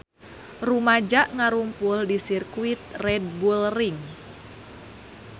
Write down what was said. Rumaja ngarumpul di Sirkuit Red Bull Ring